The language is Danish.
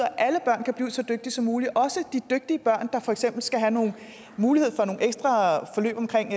at alle børn kan blive så dygtige som muligt også de dygtige børn der for eksempel skal have nogle muligheder for nogle ekstra forløb omkring